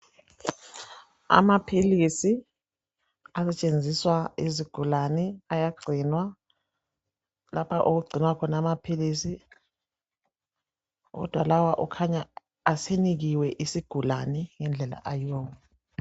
Amaphilisi asetshenziswa yizigulane ayagcinwa lapha okugcinwa khona amaphilisi .Kodwa lawa kukhanya asenikiwe isigulane ngendlela ayiwo wona .